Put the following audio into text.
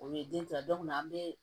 O ye den kila an bɛ